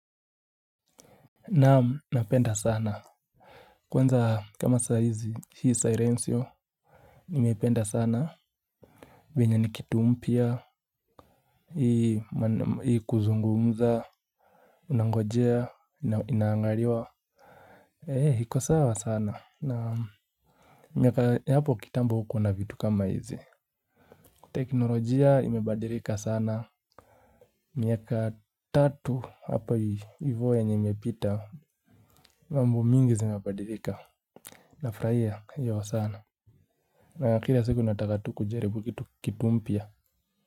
Naam napenda sana. Kwanza kama saa hizi hii sirenciyo nimependa sana venye ni kitu mpia. Hii kuzungumza unangojea inaangariwa He hiko sawa sana naam. Miaka yapo kitamba hukua na vitu kama hizi. Teknolojia imebadirika sana. Miaka tatu hapa hivo yenye imepita. Mambo mingi zimebadirika. Nafrahia hiyo sana na kira siku nataka tu kujaribu kitu kitu mpia.